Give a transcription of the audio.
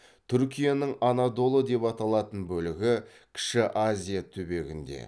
түркияның анадолы деп аталатын бөлігі кіші азия түбегінде